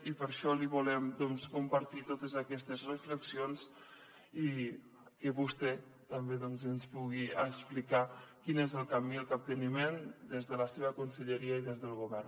i per això li volem compartir totes aquestes reflexions i que vostè també doncs ens pugui explicar quins són el camí i el capteniment des de la seva conselleria i des del govern